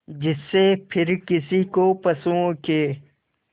जिससे फिर किसी को पशुओं के